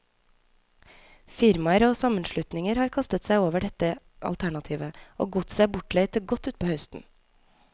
Firmaer og sammenslutninger har kastet seg over dette alternativet, og godset er bortleid til godt utpå høsten.